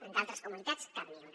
en d’altres comunitats cap ni una